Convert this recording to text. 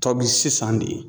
Tɔbi sisan de.